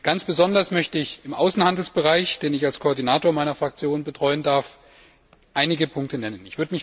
Ganz besonders möchte ich im Außenhandelsbereich, den ich als Koordinator meiner Fraktion betreuen darf, einige Punkte nennen.